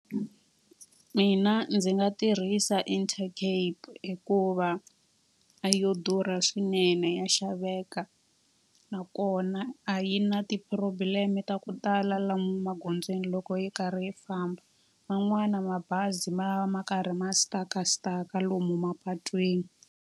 Mina ndzi nga tirhisa Intercape hikuva a yo durha swinene ya xaveka. Nakona a yi na ti-problem ta ku tala lomu magondzweni loko yi karhi yi famba. Man'wana mabazi ma va ma karhi ma-stuck-a stuck-a ka lomu mapatwini.